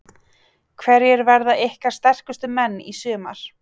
Hverjir verða ykkar sterkustu menn í sumar?